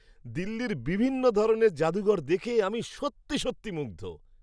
দিল্লির বিভিন্ন ধরনের জাদুঘর দেখে আমি সত্যি সত্যি মুগ্ধ!